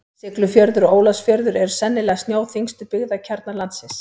Siglufjörður og Ólafsfjörður eru sennilega snjóþyngstu byggðakjarnar landsins.